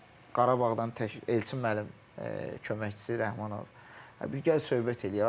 Qarabağdan Elçin müəllim köməkçisi Rəhmanov bir gəl söhbət eləyək.